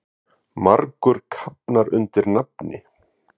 Margur kafnar undir nafni.